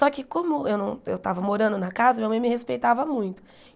Só que como eu não eu estava morando na casa, minha mãe me respeitava muito.